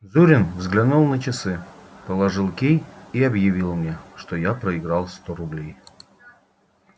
зурин взглянул на часы положил кий и объявил мне что я проиграл сто рублей